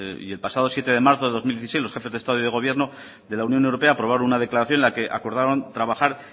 y el pasado siete de marzo de dos mil dieciséis los jefes de estado y de gobierno de la unión europea aprobaron una declaración en la que acordaron trabajar